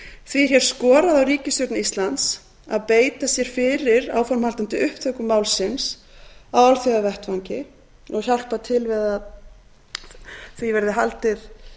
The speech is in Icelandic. því er hér skorað á ríkisstjórn íslands að beita sér fyrir áframhaldandi upptöku málsins á alþjóðavettvangi og hjálpa til við að því verði haldið